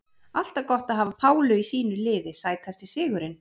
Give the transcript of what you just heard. Alltaf gott að hafa Pálu í sínu liði Sætasti sigurinn?